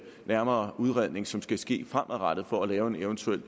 nærmere udredning som skal ske fremadrettet for at lave en eventuel